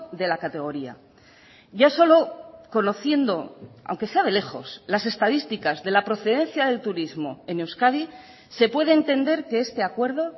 de la categoría ya solo conociendo aunque sea de lejos las estadísticas de la procedencia del turismo en euskadi se puede entender que este acuerdo